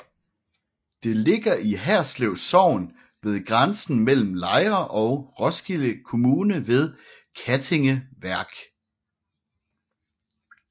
Det ligger i Herslev Sogn ved grænsen mellem Lejre og Roskilde Kommune ved Kattinge Værk